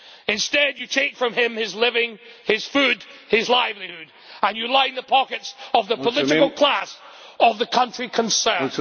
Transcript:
Instead you take from him his living, his food, his livelihood and you line the pockets of the political class of the country concerned.